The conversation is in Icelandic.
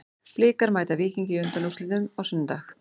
Blikar mæta Víkingi í undanúrslitum á sunnudag.